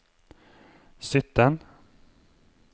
sytten